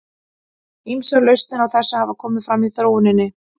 Ýmsar lausnir á þessu hafa komið fram í þróuninni.